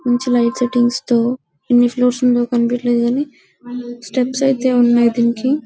మంచి light settings తో ఎన్ని ఫ్లోర్స్ ఉందో కనపడలేదు కానీ స్టెప్స్ అయితే ఉన్నాయి దీనికి --